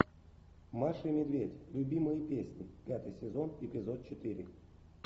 маша и медведь любимые песни пятый сезон эпизод четыре